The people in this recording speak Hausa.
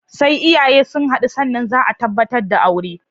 Sai iyaye sun haɗu sannan zaa tabbatar da aure